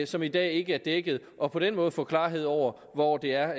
som i dag ikke er dækket og på den måde få klarhed over hvor det er